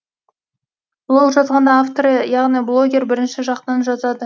блог жазғанда авторы яғни блогер бірінші жақтан жазады